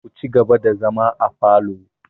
Ku ci gaba da zama afalo!